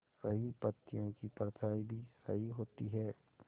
सही पत्तियों की परछाईं भी सही होती है